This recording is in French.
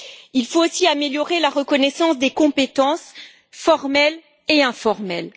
Il faut aussi améliorer la reconnaissance des compétences formelles et informelles.